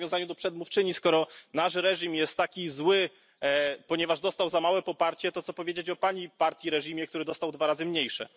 W nawiązaniu do przedmówczyni, skoro nasz reżim jest taki zły, ponieważ dostał za małe poparcie, to co powiedzieć o Pani partii, reżimie, który dostał dwa razy mniejsze.